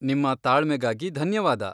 ನಿಮ್ಮ ತಾಳ್ಮೆಗಾಗಿ ಧನ್ಯವಾದ.